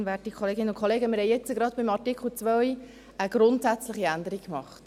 Wir haben jetzt gerade bei Artikel 2 eine grundsätzliche Änderung gemacht.